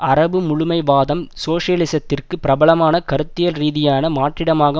அரபு முழுமைவாதம் சோசியலிசத்திற்கு பிரபலமான கருத்தியல் ரீதியான மாற்றீடாக